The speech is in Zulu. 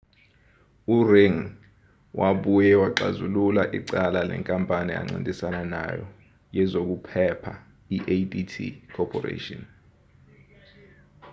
u-ring ngi wabuye waxazulula icala nenkampani ancintisana nayo yezokuphepha i-adt corporation